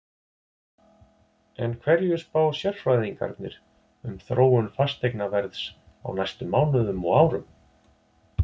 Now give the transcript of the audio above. En hverju spá sérfræðingarnir um þróun fasteignaverðs á næstu mánuðum og árum?